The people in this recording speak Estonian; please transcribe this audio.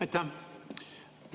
Aitäh!